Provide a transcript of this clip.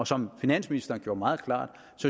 som finansministeren gjorde meget klart